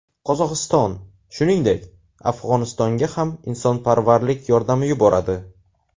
Qozog‘iston, shuningdek, Afg‘onistonga ham insonparvarlik yordami yuboradi.